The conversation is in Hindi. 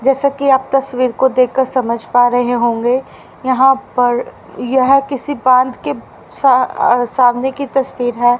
जैसा कि आप तस्वीर को देखकर समझ पा रहे होगे यहां पर यह किसी बांध के सा आ सामने की तस्वीर है।